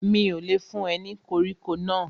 Mi ò lè fún ẹ ní koríko náà